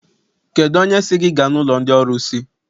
Kedụ onye sị gị gaa n'ụlọ ndị ọrụsị?